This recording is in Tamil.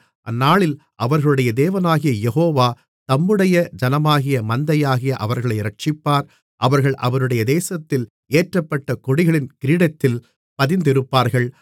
அந்நாளில் அவர்களுடைய தேவனாகிய யெகோவா தம்முடைய ஜனமான மந்தையாகிய அவர்களை இரட்சிப்பார் அவர்கள் அவருடைய தேசத்தில் ஏற்றப்பட்ட கொடிகளின் கிரீடத்தில் பதிந்திருப்பார்கள்